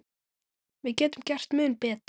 Við getum gert mun betur.